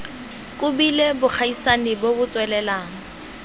kobileng bogaisani bo bo tswelelang